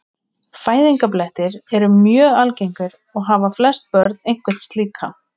Fæðingarblettir eru mjög algengir og hafa flest börn einhvern slíkan.